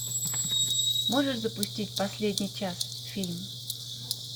можешь запустить последний час фильм